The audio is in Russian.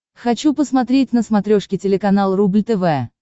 хочу посмотреть на смотрешке телеканал рубль тв